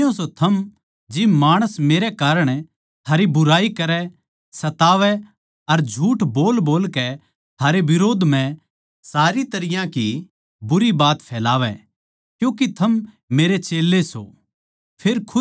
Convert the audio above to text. धन्य सों थम जिब माणस मेरै कारण थारी बुराई करै सतावै अर झूठ बोलबोलकै थारै बिरोध म्ह सारी तरियां की बुरी बात फैलावै क्यूँके थम मेरे चेल्लें सों